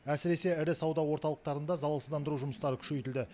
әсіресе ірі сауда орталықтарында залалсыздандыру жұмыстары күшейтілді